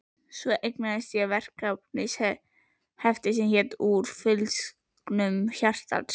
Svo eignaðist ég verkefnahefti sem hét Úr fylgsnum hjartans.